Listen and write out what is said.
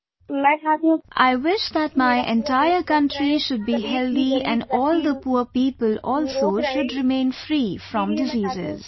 "I wish that my entire country should be healthy and all the poor people also should remain free from diseases